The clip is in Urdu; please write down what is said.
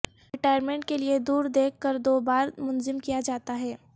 ریٹائرمنٹ کے لئے دور دیکھ کر دو بار منظم کیا جاتا ہے